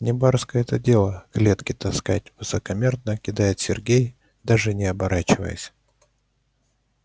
не барское это дело клетки таскать высокомерно кидает сергей даже не оборачиваясь